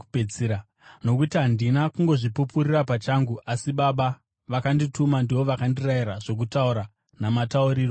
Nokuti handina kungozvipupurira pachangu, asi Baba vakandituma ndivo vakandirayira zvokutaura namatauriro acho.